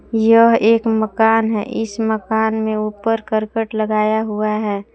यह एक मकान है इस मकान में ऊपर करकट लगाया हुआ है।